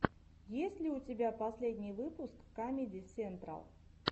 есть ли у тебя последний выпуск камеди сентрал